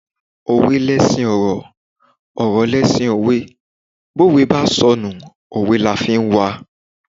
Òwe leṣin ọ̀rọ̀, ọ̀rọ̀ leṣin òwe, bówe bá sọnù, òwe la fi ń wa.